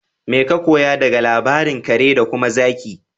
Mai ka koya daga labarin kare da kuma zaki?